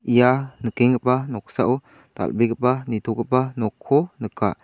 ia nikenggipa noksao dal·begipa nitogipa nokko nika.